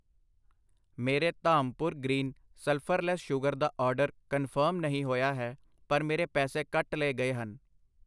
ਮੇਰੇ Dhampur green sulphurless sugar ਦਾ order confirm ਨਹੀਂ ਹੋਇਆ ਹੈ, ਪਰ ਮੇਰੇ ਪੈਸੇ ਕੱਟ ਲਏ ਗਏ ਹਨ।